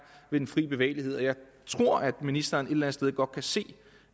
ved den frie bevægelighed jeg tror at ministeren et eller andet sted godt kan se